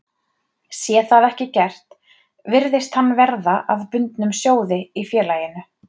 Sé það ekki gert virðist hann verða að bundnum sjóði í félaginu.